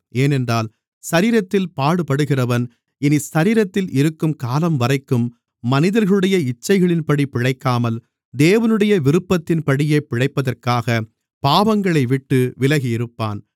ஏனென்றால் சரீரத்தில் பாடுபடுகிறவன் இனி சரீரத்தில் இருக்கும் காலம்வரைக்கும் மனிதர்களுடைய இச்சைகளின்படி பிழைக்காமல் தேவனுடைய விருப்பத்தின்படியே பிழைப்பதற்காகப் பாவங்களைவிட்டு விலகியிருப்பான்